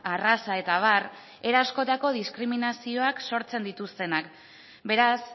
arraza eta abar era askotako diskriminazioak sortzen dituztenak beraz